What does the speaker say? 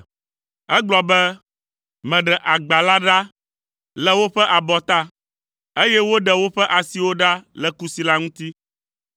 Egblɔ be, “Meɖe agba la ɖa le woƒe abɔta, eye woɖe woƒe asiwo ɖa le kusi la ŋuti.